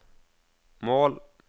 mål